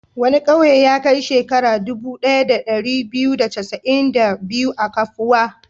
Wani ƙauye ya kai shekaru dubu ɗaya da ɗari biyu da casa'in da biyu a kafuwa.